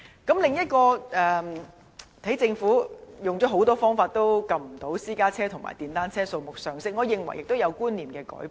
此外，政府用了很多方法也未能遏止私家車和電單車數目上升，我認為市民觀念上有所改變。